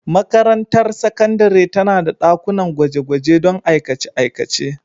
Makarantar sakandare tana da dakunan gwaje-gwaje don aikace-aikace.